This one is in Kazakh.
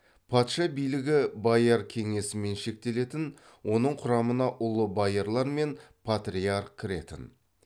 патша билігі бояр кеңесімен шектелетін оның құрамына ұлы боярлар мен патриарх кіретін